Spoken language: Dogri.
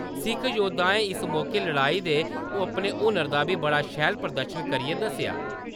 सिक्ख योद्धाएं इस मौके लड़ाई दे अपने हुनर दा बी बड़ा शैल प्रदर्शन करियै दस्सेआ।